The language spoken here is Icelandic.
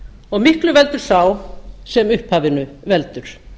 og miklu veldur sá sem upphafinu veldur